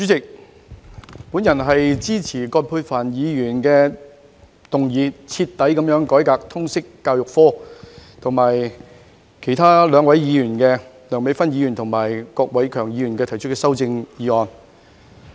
代理主席，我支持由葛珮帆議員動議有關"徹底改革通識教育科"的議案，以及另外兩位議員提出的修正案。